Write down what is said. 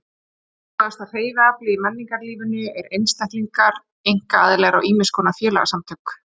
Mikilvægasta hreyfiaflið í menningarlífinu eru einstaklingar, einkaaðilar og ýmiss konar félagasamtök.